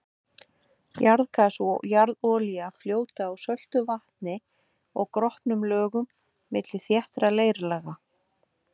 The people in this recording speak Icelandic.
Jarðgas og jarðolía fljóta á söltu vatni og gropnum lögum milli þéttra leirlaga.